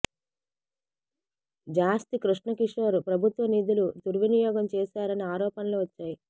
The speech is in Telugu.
జాస్తి కృష్ణ కిషోర్ ప్రభుత్వ నిధులు దుర్వినియోగం చేశారని ఆరోపణలు వచ్చాయి